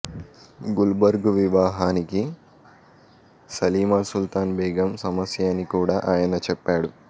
గుల్బర్గు వివాహానికి సలీమాసుల్తాన్ బేగం సమస్య అని కూడా ఆయన చెప్పాడు